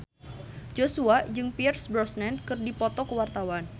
Joshua jeung Pierce Brosnan keur dipoto ku wartawan